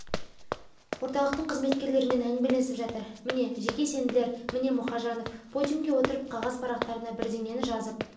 орталықтың қызметкерлерімен әңгімелесіп жатыр міне жеке сенділер міне мұхажанов подиумге отырып қағаз парақтарына бірденені жазып